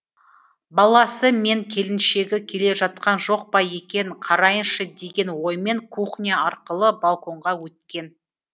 баласы мен келіншегі келе жатқан жоқ па екен қарайыншы деген оймен кухня арқылы балконға өткен